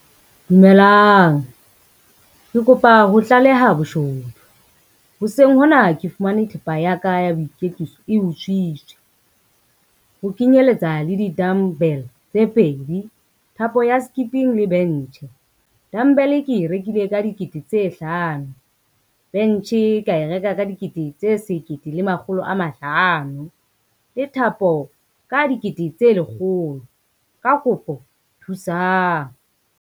Dumelang, ke kopa ho tlaleha boshodu. Hoseng hona ke fumane thepa ya ka ya boiketsiso e utswitswe, ho kenyeletsa le di-dumbbell tse pedi, thapo ya skipping le bench. Dumbbell ke e rekile ka dikete tse hlano, bench ka e reka ka dikete tse sekete le makgolo a mahlano le thapo ka dikete tse lekgolo, ka kopo thusang.